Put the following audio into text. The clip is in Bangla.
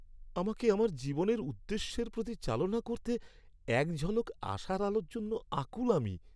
আমাকে আমার জীবনের উদ্দেশ্যের প্রতি চালনা করতে এক ঝলক আশার আলোর জন্য আকুল আমি।